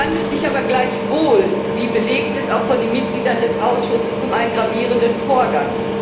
Es handelt sich aber gleichwohl wie belegt ist, auch von den Mitgliedern des Ausschusses um einen gravierenden Vorgang.